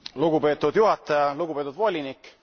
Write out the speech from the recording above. Lugupeetud juhataja, lugupeetud volinik!